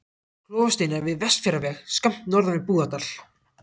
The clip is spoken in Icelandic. Klofasteinar við Vestfjarðaveg, skammt norðan við Búðardal.